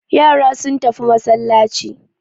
Yara sun tafi masallaci.